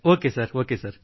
okay